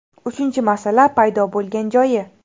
Uchinchi masala paydo bo‘lgan joyi.